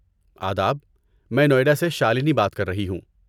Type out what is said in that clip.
آداب۔ میں نوئیڈا سے شالنی بات کر رہی ہوں۔